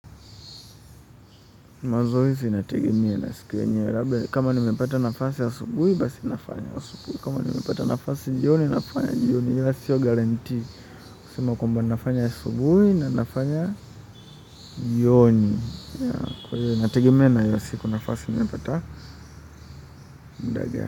Mazoezi inategemea na siku yenyewe labda, kama nimepata nafasi asubuhi, basi nafanya asubuhi, kama nimepata nafasi jioni, nafanya jioni, ila sio guaranteed, kusema kwamba nafanya asubuhi na nafanya jioni, kwa hivyo inategimea na hiyo siku nafasi nimepata muda gani.